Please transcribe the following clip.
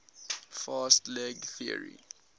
fast leg theory